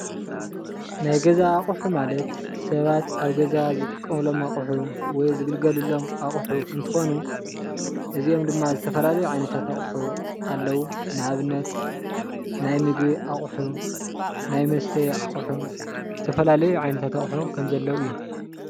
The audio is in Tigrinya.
ናይ ገዛ ኣቑሑ ማለት ሰባት ኣብ ገዛ ዝጥቀምሎም ኣቑሑ ወይ ዝግልገልሎም ኣቑሑ እንትኾኑ እዝኦም ድማ ዝተፈላለዩ ዓይነታት ኣቑሑ ኣለው። ንኣብነት ናይ ምግቢ ኣቑሑ፣ ናይ መስተይ ኣቑሑ ዝተፈላለዩ ዓይነታት ኣቑሑ ከም ዘለው እዮም።